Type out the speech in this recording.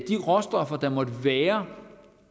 de råstoffer der måtte være